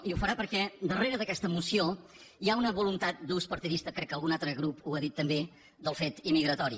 i ho farà perquè darrere d’aquesta moció hi ha una voluntat d’ús parti·dista crec que algun altre grup ho ha dit també del fet immigratori